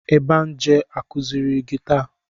Ebenje akụziiri gị taa?